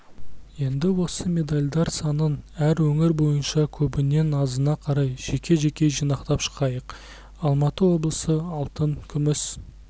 енді осы медальдар санын әр өңір бойынша көбінен азына қарай жеке жеке жинақтап шығайық алматы облысы алтын күміс